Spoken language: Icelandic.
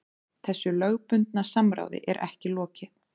Þessu lögbundna samráði er ekki lokið